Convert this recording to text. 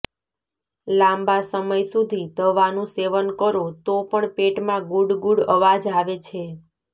લાંબા સમય સુધી દવાનું સેવન કરો તો પણ પેટમાં ગુડગુડ અવાજ આવે છે